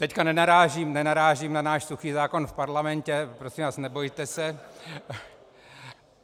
Teď nenarážím na náš suchý zákon v parlamentě, prosím vás, nebojte se.